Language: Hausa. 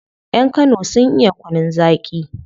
Yan kano sun iya kunun zaki